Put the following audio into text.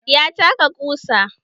Ya taka ƙusa.